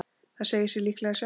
Það segir sig líklega sjálft.